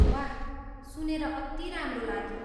वाह... सुनेर अति राम्रो लाग्यो!